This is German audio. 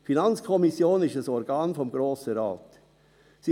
Die FiKo ist ein Organ des Grossen Rates.